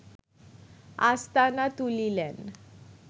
আস্তানা তুলিলেন